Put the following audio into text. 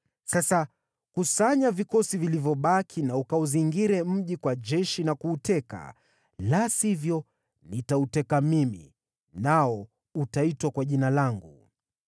Sasa kusanya vikosi vilivyobaki na ukauzingire mji kwa jeshi na kuuteka. La sivyo, nitauteka mimi, nao utaitwa kwa jina langu.”